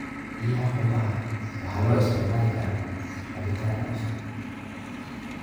Biyaha qumbaha waxaa loo isticmaali karaa cabitaan qabow.